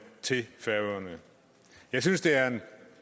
til færøerne jeg synes det er en